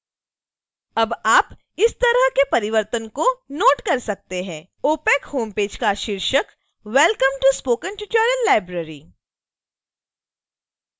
अब आप इस तरह के परिवर्तनों को नोट कर सकते हैं: opac होमपेज का शीर्षक welcome to spoken tutorial library